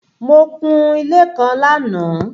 Mo kun-un ilé kan lánàá.